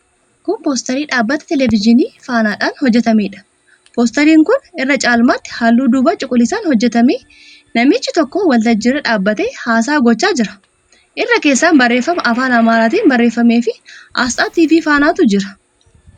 Kun poosterii dhaabbata televizyiinii 'Fana'dhaan hojjetameedha. Poosteriin kun irra caalmaatti halluu duubaa cuquliisaan hojjetame. Namichi tokko waltajjii irra dhaabbatee haasaa gochaa jira. Irra keessaan barreeffama afaan Amaaraatiin barreeffameefi aasxaa TV 'Fana'tu jira.